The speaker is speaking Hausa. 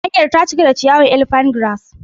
Hanyar ta cika da ciyawar Elephant grass.